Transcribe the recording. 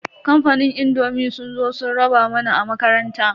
Kamfanin indomi sun zo sun raba mana a makaranta.